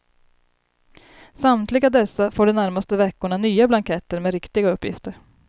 Samtliga dessa får de närmaste veckorna nya blanketter med riktiga uppgifter.